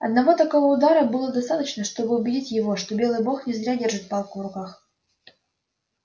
одного такого удара было достаточно чтобы убедить его что белый бог не зря держит палку в руках